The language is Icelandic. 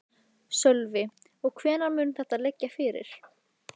Sölvi: Og hvenær mun þetta liggja fyrir?